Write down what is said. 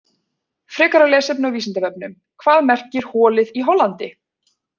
Frekara lesefni á Vísindavefnum: Hvað merkir holið í Hollandi?